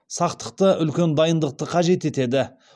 сақтықты үлкен дайындықты қажет етеді